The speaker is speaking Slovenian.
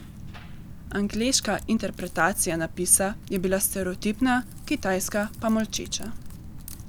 Angleška interpretacija napisa je bila stereotipna, kitajska pa molčeča.